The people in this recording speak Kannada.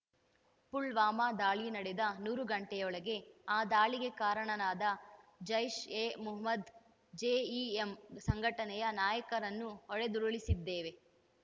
ಪುಲ್ವಾಮಾ ದಾಳಿ ನಡೆದ ನೂರು ಗಂಟೆಯೊಳಗೆ ಆ ದಾಳಿಗೆ ಕಾರಣರಾದ ಜೈಷ್‌ಎಮೊಹಮ್ಮದ್‌ ಜೆಇಎಂ ಸಂಘಟನೆಯ ನಾಯಕರನ್ನು ಹೊಡೆದುರುಳಿಸಿದ್ದೇವೆ